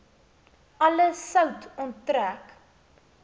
alle sout onttrek